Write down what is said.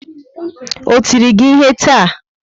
O tiri gị ihe taa?